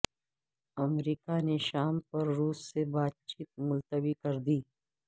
امریکہ نے شام پر روس سے بات چیت ملتوی کر دی